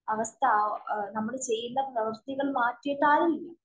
അവസ്ഥ നമ്മള്‍ ചെയ്യുന്ന പ്രവര്‍ത്തികള്‍ മാറ്റിയിട്ടായി